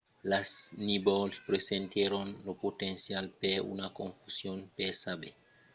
las nívols presentèron lo potencial per una confusion per saber s'una erupcion vertadièra s'èra debanada